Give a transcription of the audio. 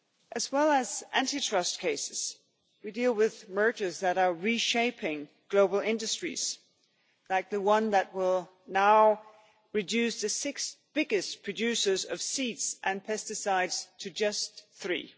As well as anti trust cases we deal with mergers that are reshaping global industries, like the one that will now reduce the six biggest producers of seeds and pesticides to just three.